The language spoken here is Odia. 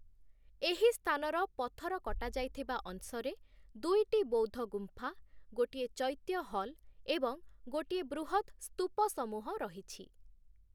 ଏହି ସ୍ଥାନର ପଥର କଟାଯାଇଥିବା ଅଂଶରେ ଦୁଇଟି ବୌଦ୍ଧ ଗୁମ୍ଫା, ଗୋଟିଏ ଚୈତ୍ୟ ହଲ୍ ଏବଂ ଗୋଟିଏ ବୃହତ୍ ସ୍ତୂପ ସମୂହ ରହିଛି ।